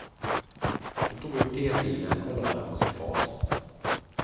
Hon tog upp tesilen och lade den på sitt fat.